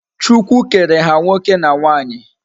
Chukwu kere ha nwoke na nwanyi